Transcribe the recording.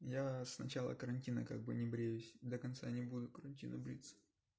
я с начала карантина как бы не бреюсь до конца не буду карантина бриться